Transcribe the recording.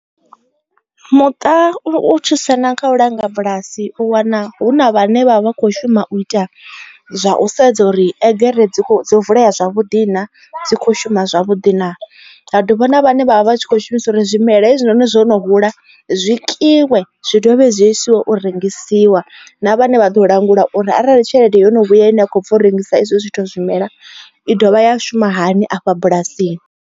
Muṱa u thusana kha u langa bulasi u wana hu na vhane vha vha kho shuma u ita zwa u sedza uri egere dzo vulea zwavhuḓi na dzi kho shuma zwavhuḓi na ha dovha na vhane vha vha tshi kho shumisa uri zwimela hezwinoni zwo no hula zwi tikiwe zwi dovhe zwi a isiwa u rengisiwa na vhane vha ḓo langulwa uri arali tshelede yo no vhuya ine a khou bva u rengisa izwo zwithu zwimela i dovha ya shuma hani afha bulasini.